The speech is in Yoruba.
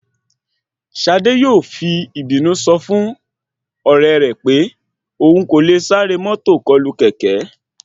Ṣadé yóò fi ìbínú sọ fún ọ̀rẹ́ rẹ̀ pé òhun kò le sáré mọ́tò kọlù kẹ̀kẹ́